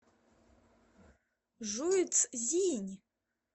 жуйцзинь